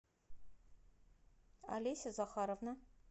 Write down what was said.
олеся захаровна